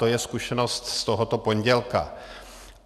To je zkušenost z tohoto pondělka.